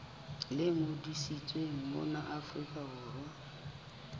le ngodisitsweng mona afrika borwa